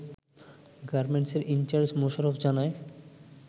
গার্মেন্টেসের incharge Mosharraf জানায়